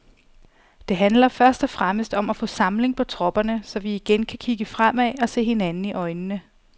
Det handler først og fremmest om at få samling på tropperne, så vi igen kan kigge fremad og se hinanden i øjnene.